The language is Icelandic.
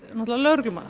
lögreglumanna